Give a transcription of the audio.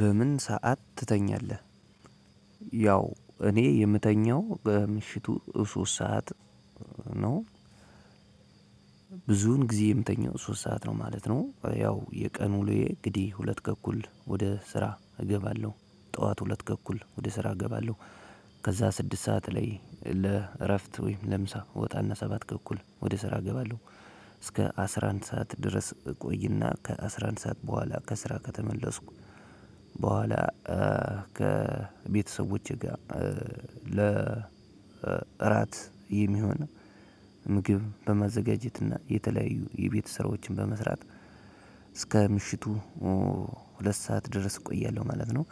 በምን ሰዓት ትተኛለህ? ያው እኔ የምተኛው በምሽቱ ሶስት ሰዓት ነው ብዙን ጊዜ የምተኛው ሶስት ሰዓት ነው ማለት ነው። ያው የቀኑ ውሎዬ እንግዲህ ሁለት ተኩል ወደ ስራ እገባለሁ ጠዋት ሁለት ተኩል ወደ ስራ እገባለሁ። ከዛ ስድስት ሰዓት ላይ ለእረፍት ወይም ለምሳ እወጣና ሰባት ተኩል ወደ ስራ እገባለሁ። እስከ አስራ አንድ ሰዓት ድረስ ቆይና ከአስራ አንድ ሰዓት በኋላ ከስራ ከተመለስኩ በኋላ ከቤተሰቦቼ ጋር ለራት የሚሆን ምግብ በማዘጋጀት እና የተለያዩ የቤት ስራዎችን በመስራት እስከ ምሽቱ ሁለት ሰዓት ድረስ እቆያለሁ ማለት ነው።